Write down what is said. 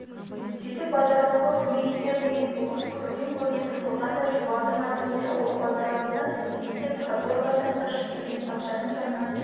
сөйтіп базаралыға көмек етер деген болыс көрден-көрге тығылғандай шұбардың айтуынша ол базаралыны енді каторгадан қашып келген патшаның заңынан